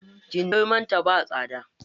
Kindirmon ta ba tsada.